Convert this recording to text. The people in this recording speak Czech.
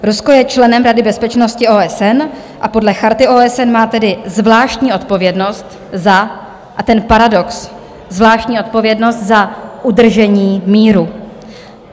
Rusko je členem Rady bezpečnosti OSN a podle Charty OSN má tedy zvláštní odpovědnost za - a ten paradox - zvláštní odpovědnost za udržení míru.